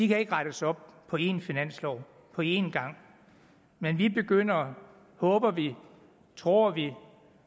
kan ikke rettes op på en finanslov på en gang men vi begynder håber vi tror vi